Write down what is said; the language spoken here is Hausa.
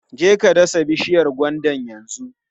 Je ka dasa bishiyar gwandan yanzu!